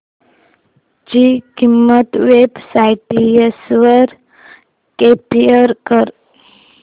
ची किंमत websites वर कम्पेअर कर